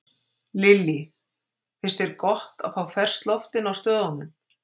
Lillý: Finnst þér gott að fá ferskt loft inn á stöðunum?